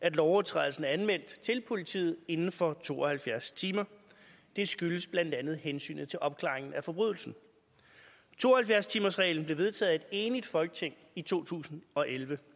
at lovovertrædelsen er anmeldt til politiet inden for to og halvfjerds timer det skyldes blandt andet hensynet til opklaringen af forbrydelsen to og halvfjerds timersreglen blev vedtaget af et enigt folketing i to tusind og elleve